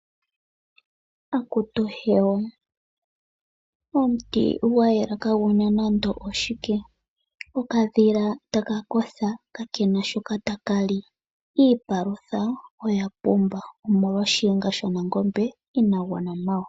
Akutu hewa, omuti gwayela kaaguna nande oshike. Okadhila taka kotha kaakena shoka taka li. Iipalutha oya pumba omolwa shiyenga sha nangombe inaa gwana nawa.